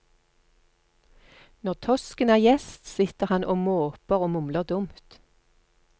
Når tosken er gjest, sitter han og måper og mumler dumt.